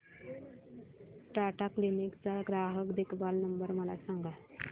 Tata Cliq चा ग्राहक देखभाल नंबर मला सांगा